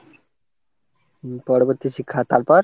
উম পরবর্তী শিক্ষা তারপর?